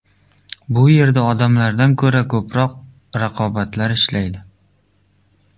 Bu yerda odamlardan ko‘ra ko‘proq robotlar ishlaydi.